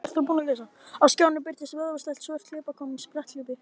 Á skjánum birtist vöðvastælt svört hlaupakona í spretthlaupi.